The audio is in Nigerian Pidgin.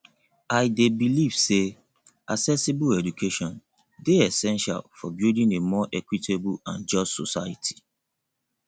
i dey believe say accessible education dey essential for building a more equitable and just society